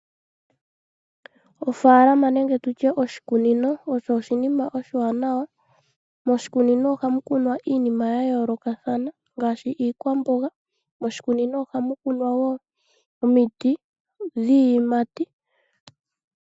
Oofalama nenge tutye oshikunino osho oshinima oshiwanawa .Moshikunino ohamu kunwa iinima gayolokathana ngaashi iikwambonga, moshikunino ohamu kunwa wo omiti dhiyimati.